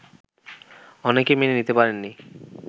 অনেকে মেনে নিতে পারেননি